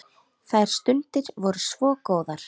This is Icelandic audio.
Þær stundir voru svo góðar.